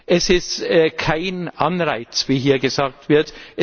Es ist kein Anreiz, wie hier gesagt wird.